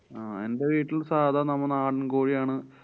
അഹ് എന്‍ടെ വീട്ടില് സാധാ നമ്മടെ നാടന്‍ കോഴിയാണ്.